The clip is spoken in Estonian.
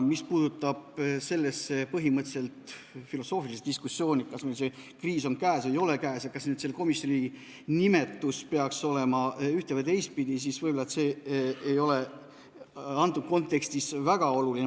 Mis puutub sellesse põhimõtteliselt filosoofilisse diskussiooni, kas meil see kriis on käes või ei ole ja kas selle komisjoni nimetus peaks olema üht- või teistpidi, siis see võib-olla antud kontekstis ei ole väga oluline.